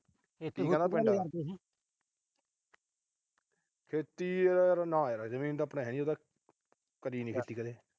ਖੇਤੀ ਖੇਤੀ ਨਾ ਯਾਰ। ਜਮੀਨ ਤਾਂ ਆਪਣੇ ਹੈ ਨਈ। ਉਹ ਕਰੀ ਨੀ ਖੇਤੀ ਕਦੇ।